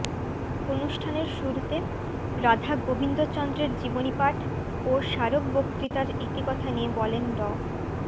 অনুষ্ঠানের শুরুতে রাধাগোবিন্দ চন্দ্রের জীবনী পাঠ ও স্মারক বক্তৃতার ইতিকথা নিয়ে বলেন ড